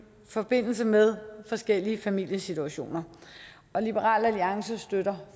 forbindelse med forskellige familiesituationer liberal alliance støtter